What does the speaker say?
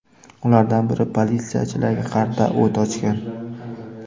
Ulardan biri politsiyachilarga qarata o‘t ochgan.